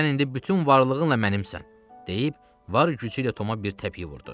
Sən indi bütün varlığınla mənimsən, deyib var gücüylə Toma bir təpik vurdu.